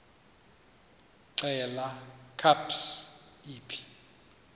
xelel kabs iphi